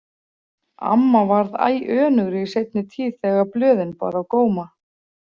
Amma varð æ önugri í seinni tíð þegar blöðin bar á góma.